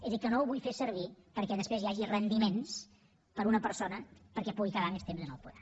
és a dir que no ho vull fer servir perquè després hi hagi rendiments per a una persona perquè pugui quedar més temps en el poder